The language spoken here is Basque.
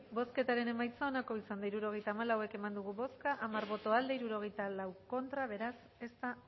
bozketaren emaitza onako izan da hirurogeita hamalau eman dugu bozka hamar boto aldekoa sesenta y cuatro contra beraz ez da